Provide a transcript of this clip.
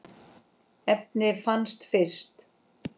efnið fannst fyrst.